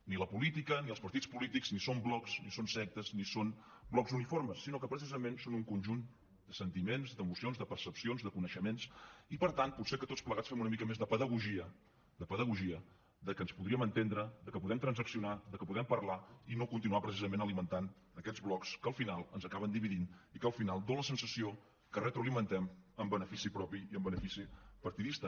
ni la política ni els partits polítics ni són blocs ni són sectes ni són blocs uniformes sinó que precisament són un conjunt de sentiments d’emocions de percepcions de coneixements i per tant potser que tots plegats fem una mica més de pedagogia de pedagogia de que ens podríem entendre de que podem transaccionar de que podem parlar i no continuar precisament alimentant aquests blocs que al final ens acaben dividint i que al final dona la sensació que retroalimentem en benefici propi i en benefici partidista